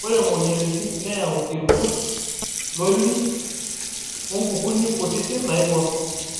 Ore moyiaritin neyau irkurt loriri onkukuni kutiti naibor.